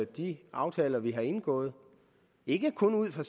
de aftaler vi har indgået ikke kun ud fra